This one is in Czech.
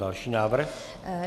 Další návrh.